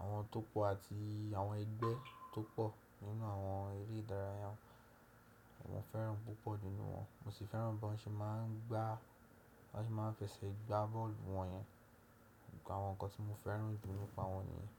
àwọn tó pọ̀ àti àwọn ẹgbẹ́ tó pọ̀ nínú àwọn eré ìdárayá. Mo fẹ́ràn púpọ̀ nínú wọn. Mo sì fẹ́ràn bí wọ́n ṣe má ń gbá, bí wọ́n ṣe má ń fẹsẹ̀ gbá bọ́ọ̀lù wọ̀nyẹn. Àwọn nǹkan tí mo fẹ́ràn jù nípa wọn nìyẹn.